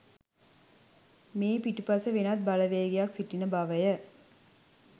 මේ පිටුපස වෙනත් බලවේගයක් සිටින බවය.